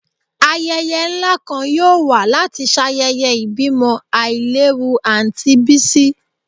Ayẹyẹ nla kan yoo wa lati ṣayẹyẹ ibimo ailewu Aunty Bisi